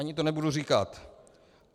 Ani to nebudu říkat.